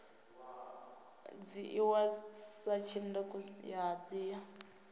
dzhiiwa sa tshanduko ya dzina